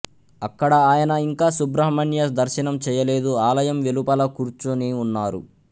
అక్కడ ఆయన ఇంకా సుబ్రహ్మణ్య దర్శనం చేయలేదు ఆలయం వెలుపల కూర్చుని ఉన్నారు